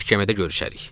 Məhkəmədə görüşərik.